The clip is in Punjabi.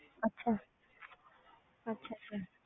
ਅੱਛਾ ਅੱਛਾ ਅੱਛਾ